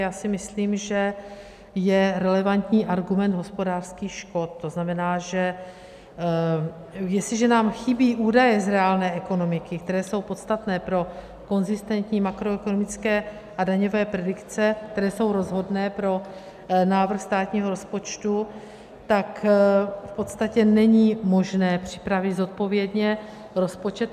Já si myslím, že je relevantní argument hospodářských škod, to znamená, že jestliže nám chybí údaje z reálné ekonomiky, které jsou podstatné pro konzistentní makroekonomické a daňové predikce, které jsou rozhodné pro návrh státního rozpočtu, tak v podstatě není možné připravit zodpovědně rozpočet.